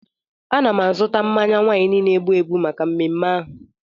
Ana m azụta mmanya waịnị na-egbu egbu maka mmeme ahụ.